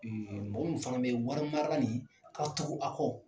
mɔgɔ min fana bɛ wari mara nin, ka tugu a kɔ